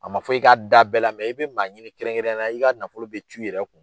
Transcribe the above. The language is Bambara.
A ma fɔ i ka da bɛɛ la i bɛ maa ɲini kɛrɛnkɛrɛnyala i ka nafolo bɛ cu i yɛrɛ kun.